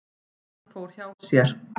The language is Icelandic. Hann fór hjá sér.